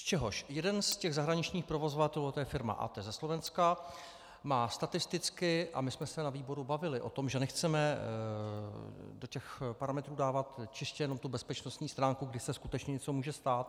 Z čehož jeden z těch zahraničních provozovatelů, to je firma ATE ze Slovenska, má statisticky - a my jsme se na výboru bavili o tom, že nechceme do těch parametrů dávat čistě jenom tu bezpečnostní stránku, kdy se skutečně něco může stát.